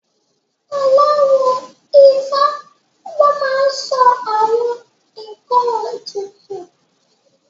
Aláwo Ifá ló máa n sọ àwọn ǹkan ètùtù